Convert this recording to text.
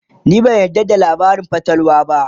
ni ban yarda da labarin fatalwa ba